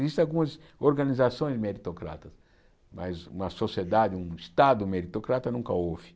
Existem algumas organizações meritocratas, mas uma sociedade, um Estado meritocrata nunca houve.